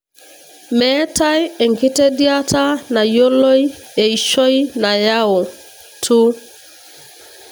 metae enkitediata nayioloi eishoi nayau TO.